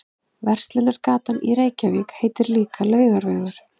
Verslunargatan í Reykjavík heitir líka Laugavegur.